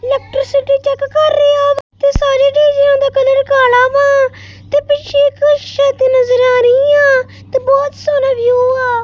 Electricity check ਕਰ ਰਹੇ ਆ ਤੇ ਸਾਰੇ ਡੀ_ਜੇ ਆਂ ਦਾ ਕਲਰ ਕਾਲਾ ਵਾ ਤੇ ਪਿੱਛੇ ਇੱਕ ਛੱਤ ਨਜ਼ਰ ਆ ਰਹੀ ਆ ਤੇ ਬਹੁਤ ਸੋਹਣਾ ਵਿਊ ਆ।